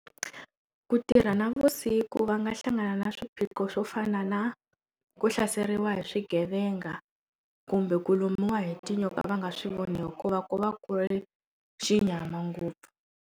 Ku tirha navusiku va nga hlangana na swiphiqo swo fana na ku hlaseriwa hi swigevenga kumbe ku lumiwa hi tinyoka va nga swivoni ku va ku va ku ri xinyama ngopfu.